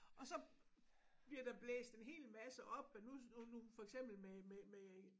Og så bliver der blæst en hel masse op og nu nu for eksempel med med med